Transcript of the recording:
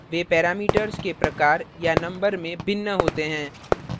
वे parameters के प्रकार या number में भिन्न होते हैं